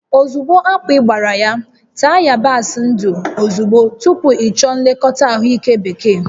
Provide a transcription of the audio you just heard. Ozugbo akpị gbara ya, taa yabasị ndụ ozugbo tupu ịchọọ nlekọta ahụike bekee